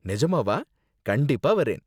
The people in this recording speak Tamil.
நெஜமாவா? கண்டிப்பா வரேன்.